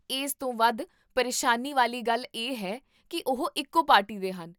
ਇਸ ਤੋਂ ਵੱਧ ਪਰੇਸ਼ਾਨੀ ਵਾਲੀ ਗੱਲ ਇਹ ਹੈ ਕੀ ਉਹ ਇੱਕੋ ਪਾਰਟੀ ਦੇ ਹਨ